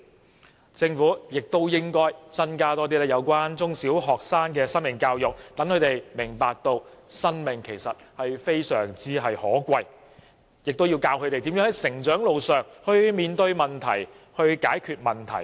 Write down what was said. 此外，政府應增加中小學生的生命教育，讓他們明白生命的可貴，亦要教導他們如何在成長路上面對問題、解決問題。